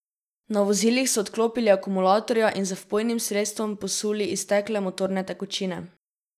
Na vozilih so odklopili akumulatorja in z vpojnim sredstvom posuli iztekle motorne tekočine.